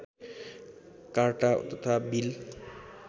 carta तथा bill